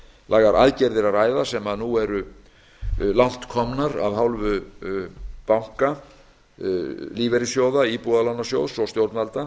mikilvægar aðgerðir að ræða sem nú eru langt komnar af hálfu banka lífeyrissjóða íbúðalánasjóðs og stjórnvalda